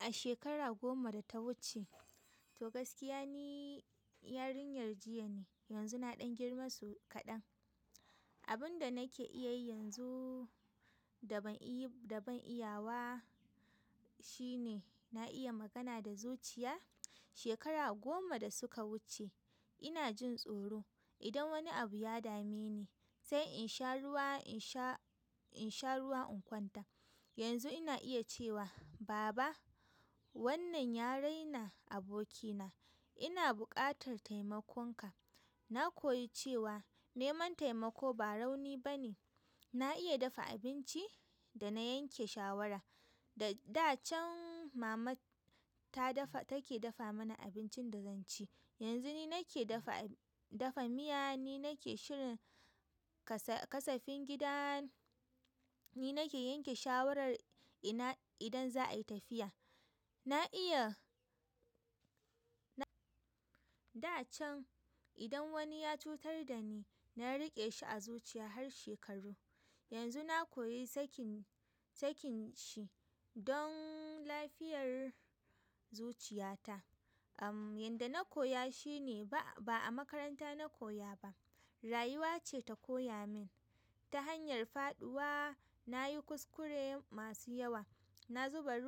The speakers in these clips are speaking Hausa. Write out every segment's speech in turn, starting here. A shekara goma da ta wuce, to gaskiya ni yarinyar jiya ne. Yanzu na ɗan girma so kaɗan. Abin da nake iya yi yanzu da ban iya wa shine na iya magana da zuciya. Shekara goma da suka wuce ina jin tsoro. Idan wani abu ya dame ni sai in sha ruwa, in sha ruwa in kwanta. Yanzu ina iya cewa baba wannan ya raina abokina. Ina buƙatar taimakonka. Na koyi cewa neman taimako ba rauni ba ne. Na iya dafa abinci da na yanke shawara. Da can mama take dafa mana abincin da zan ci. Yanzu ni nake dafa miya, ni nake shirin kasafin gida, ni nake yanke shawarar idan za a yi tafiya. Na iya. Da can idan wani ya cutar da ni, na riƙe shi a zuciya har shekaru. Yanzu na koyi sakin shi don lafiyar zuciyata. Amm, yanda na koya shi ne ba a makaranta na koya ba, rayuwa ce ta koya min. Ta hanyar faɗuwa na yi kuskure masu yawa. Na zuba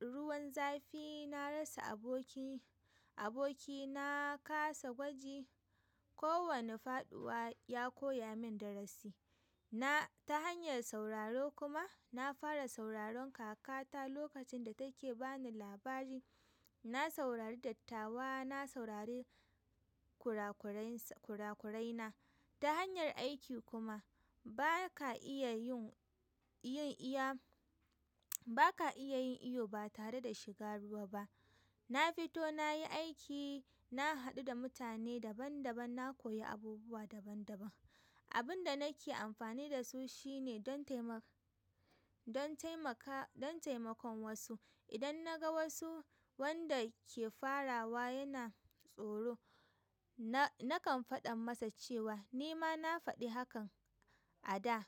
ruwan zafi, na rasa aboki, na kasa gwaji. Kowane faɗuwa ya koya min darasi. Ta hanyar sauraro kuma nafara sauraron kakata lokacin da rake bani labari na saurari dattawa, na saurari kurakurai na. Ta hanyar aiki kuma ba ka iya yin iyo ba tare da shiga ruwa ba. Na fito na yi aiki, na haɗu da mutane daban daban, na koyi abubuwa daban daban. Abunda nake amfani dasu shine don taimaka don taimakon wasu. Idan na ga wasu wanda ke farawa yana tsoro, na kan faɗan masa cewa ni ma na faɗi hakan a da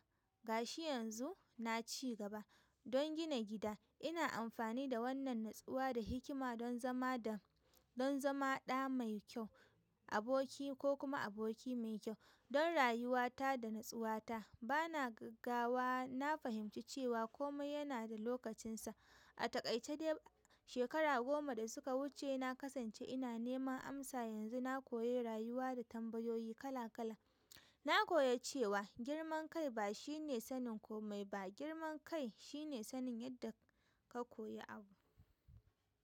gashi yanzu na ci gaba. Don gina gida ina amfani da wannan natsuwa da hikima don zama ɗa mai kyau, aboki ko kuma aboki mai kyau. Don rayuwata da natsuwata bana gaggawa. Na fahimci cewa kome yana da lokacinsa. A takaice dai shekara goma da suka wuce na kasance ina neman amsa. Yanzu na koyi rayuwa da tambayoyi kala kala. Na koyi cewa girman kai ba shine sanin komai ba, girman kai shine sanin yadda ka koyi abu.